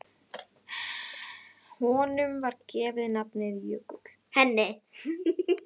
Henni var gefið nafnið Jökull.